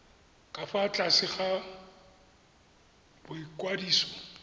ka fa tlase ga boikwadiso